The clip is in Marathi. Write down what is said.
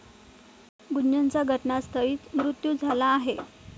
गुंजनचा घटनास्थळीच मृत्यू झाला आहे.